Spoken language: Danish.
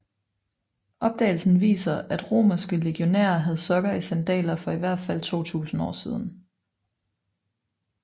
Opdagelsen viser at romerske legionærer havde sokker i sandaler for i hvert fald 2000 år siden